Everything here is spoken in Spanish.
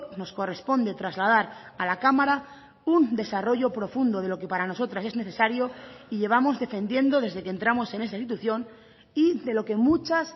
nos corresponde trasladar a la cámara un desarrollo profundo de lo que para nosotras es necesario y llevamos defendiendo desde que entramos en esta institución y de lo que muchas